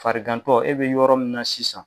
Farigantɔ e bi yɔrɔ min na sisan.